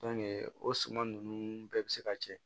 o suman ninnu bɛɛ bi se ka kɛ